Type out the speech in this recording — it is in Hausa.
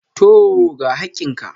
Tooo, ga hakkin ka.